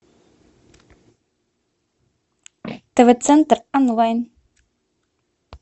тв центр онлайн